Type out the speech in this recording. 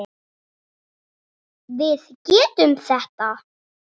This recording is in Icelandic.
Við getum þetta.